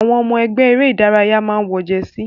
Àwọn ọmọ ẹgbẹ́ eré ìdárayá máa n wọ jẹsí.